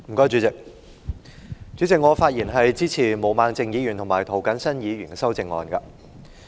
主席，我發言支持毛孟靜議員及涂謹申議員的修正案。